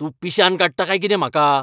तूं पिश्यांत काडटा काय कितें म्हाका?